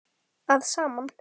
að saman.